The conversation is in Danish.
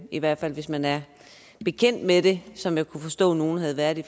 i hvert fald hvis man er bekendt med det som jeg kan forstå at nogle havde været det